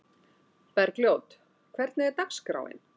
Bergljót, hvernig er dagskráin?